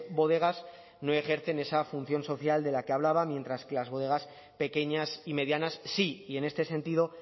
bodegas no ejercen esa función social de la que hablaba mientras que las bodegas pequeñas y medianas sí y en este sentido